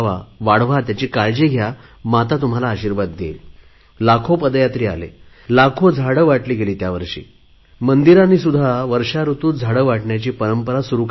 वाढवा त्याची काळजी घ्या माता तुम्हाला आशिर्वाद देईल लाखे पदयात्री आले लाखो झाडे वाटली गेली त्यावर्षी मंदिरांनी सुध्दा वर्षा ऋतूत रोपे वाटण्याची परंपरा सुरु करावी